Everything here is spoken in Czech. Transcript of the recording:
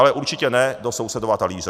Ale určitě ne do sousedova talíře.